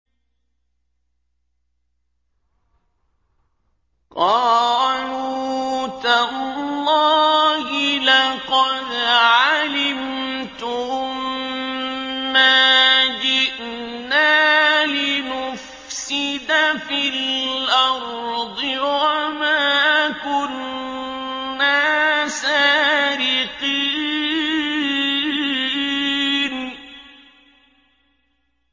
قَالُوا تَاللَّهِ لَقَدْ عَلِمْتُم مَّا جِئْنَا لِنُفْسِدَ فِي الْأَرْضِ وَمَا كُنَّا سَارِقِينَ